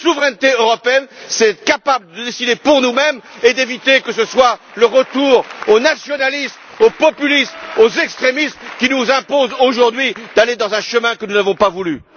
La souveraineté européenne, c'est être capable de décider pour nous mêmes et d'éviter que ce soit le retour au nationalisme, au populisme, aux extrémistes qui nous imposent aujourd'hui d'aller dans un chemin que nous n'avons pas voulu!